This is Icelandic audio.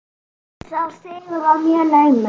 Sá sigur var mjög naumur.